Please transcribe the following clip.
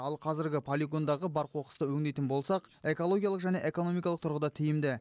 ал қазіргі полигондағы бар қоқысты өңдейтін болсақ экологиялық және экономикалық тұрғыда тиімді